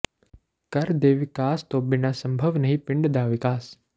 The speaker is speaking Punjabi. ਘਰ ਦੇ ਵਿਕਾਸ ਤੋਂ ਬਿਨ੍ਹਾ ਸੰਭਵ ਨਹੀਂ ਪਿੰਡ ਦਾ ਵਿਕਾਸ